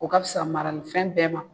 O ka fisa maralifɛn bɛɛ ma.